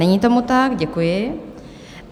Není tomu tak, děkuji.